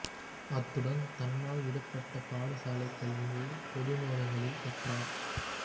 அத்துடன் தன்னால் விடுபட்ட பாடசாலைக் கல்வியை பொது நூலகங்களில் கற்றார்